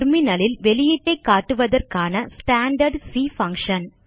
terminal ல் வெளியீட்டை காட்டுவதற்கான ஸ்டாண்டார்ட் சி பங்ஷன்